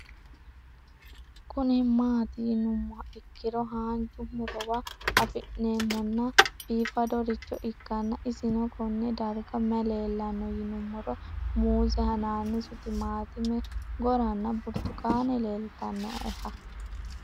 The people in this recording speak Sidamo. Kuni mati yinumoha ikiro hanja murowa afine'mona bifadoricho ikana isino Kone darga mayi leelanno yinumaro muuze hanannisu timantime gooranna buurtukaane leelitoneha